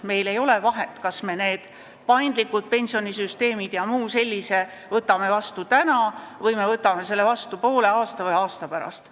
Meil ei ole vahet, kas me need paindlikud süsteemid ja muu sellise võtame vastu täna või poole aasta või aasta pärast.